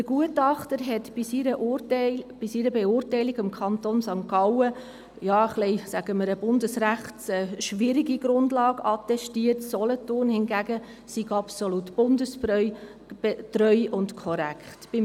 Der Gutachter hat in seiner Beurteilung dem Kanton St. Gallen eine bundesrechtlich schwierige Grundlage attestiert, wohingegen Solothurn absolut bundestreu und korrekt sei.